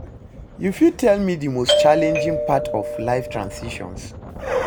you fit tell me di most challenging part of life transitions?